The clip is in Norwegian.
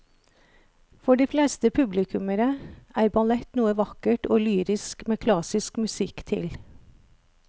For de fleste publikummere er ballett noe vakkert og lyrisk med klassisk musikk til.